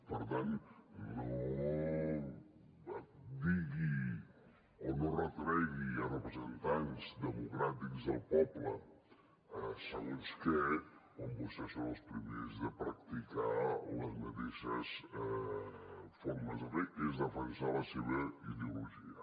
per tant no digui o no retregui a representants democràtics del poble segons què quan vostès són els primers de practicar les mateixes formes de fer que és defensar la seva ideologia